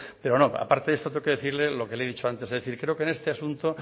pero no aparte de eso tengo que decirle lo que le he dicho antes creo que en este asunto